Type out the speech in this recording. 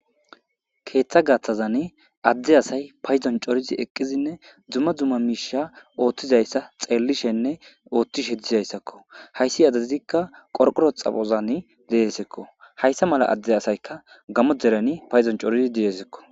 Keeththa gaaththazan adde asay payzon corizi eqqizinne dzumma dzumma miisha ooththizayssa xeellishenne ooththishe dizayssakko hayssi azaizikka qorqoro xapozan deesekko hayssa mala adde asayka gamo dereni payzon corizi diesekko.